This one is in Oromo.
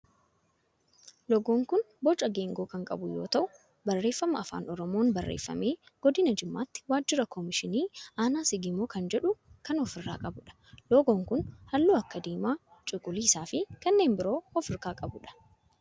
loogoon kun boca geengoo kan qabu yoo ta'u barreeffama afaan oromoon barreeffame godina jimmaatti waajjira kominikeeshinii aanaa sigimoo kan jedhu kan of irraa qabudha. loogoon kun halluu akka diimaa, cuquliisaa fi kanneen biroo of irraa kan qabudha.